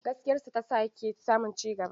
Gaskiyarsa ta sa yake samun cigaba.